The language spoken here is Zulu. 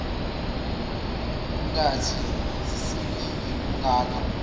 kungathi ziziningi kangaka